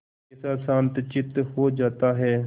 कैसा शांतचित्त हो जाता है